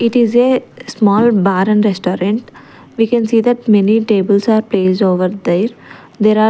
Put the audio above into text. It is a small bar and restaurant we can see that many tables are placed over there there--